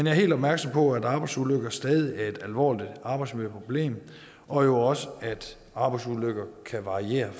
er helt opmærksom på at arbejdsulykker stadig er et alvorligt arbejdsmiljøproblem og jo også at arbejdsulykker kan variere